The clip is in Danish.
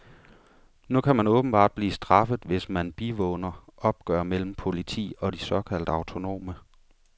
Nu kan man åbenbart blive straffet, hvis man bivåner opgør mellem politi og de såkaldt autonome.